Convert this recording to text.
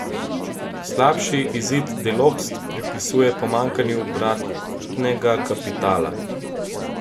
Slabši izid Delopst pripisuje pomanjkanju obratnega kapitala.